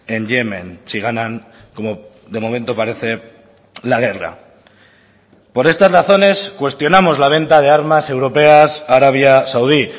en yemen si ganan como de momento parece la guerra por estas razones cuestionamos la venta de armas europeas a arabia saudí